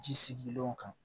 Ji sigilenw kan